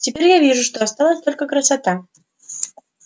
теперь я вижу что осталась только красота